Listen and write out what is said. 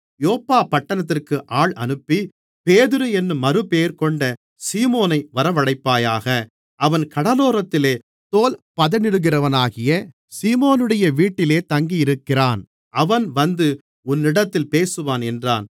யோப்பா பட்டணத்திற்கு ஆள் அனுப்பி பேதுரு என்னும் மறுபெயர்கொண்ட சீமோனை வரவழைப்பாயாக அவன் கடலோரத்திலே தோல்பதனிடுகிறவனாகிய சீமோனுடைய வீட்டிலே தங்கியிருக்கிறான் அவன் வந்து உன்னிடத்தில் பேசுவான் என்றார்